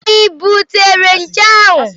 I butere nje ahụ?